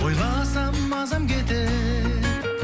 ойласам мазам кетер